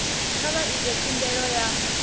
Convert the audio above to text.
kha vha ite khumbelo ya